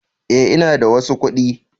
Eh, ina da wasu kuɗi